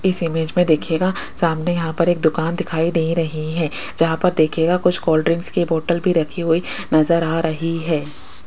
इस इमेज में देखिएगा सामने यहां पर एक दुकान दिखाई दे रही है जहां पर देखिएगा कुछ कोल्ड ड्रिंक्स की बोटल भी रखी हुई नजर आ रही है।